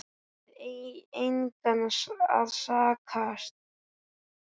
Við engan að sakast